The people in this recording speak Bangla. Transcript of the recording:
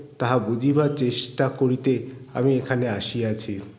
তাহা বুঝিবার চেষ্টা করিতে আমি এখানে আসিয়াছি